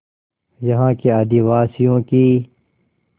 यहाँ के आदिवासियों की